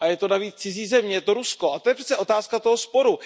Je to navíc cizí země, je to Rusko, to je přece otázka toho sporu.